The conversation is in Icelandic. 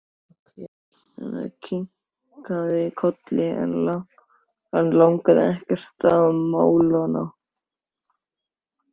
Elsa kinkaði kolli en lagði ekkert til málanna.